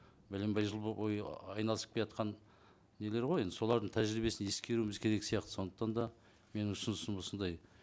бәленбай жыл бойы айналысып келатқан нелер ғой енді солардың тәжірибесін ескеруіміз керек сияқты сондықтан да менің ұсынысым осындай